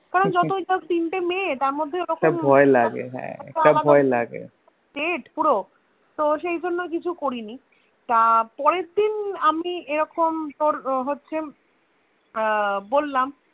কারণ যতই হোক তিনটে মেয়ে তার মধ্যে একটা ভয় লাগে হা একটা ভয় লাগে পুরো তো সেজন্য কিছু করিনি তা পরের দিন আমি এরকম তোর হচ্ছে আহ বললাম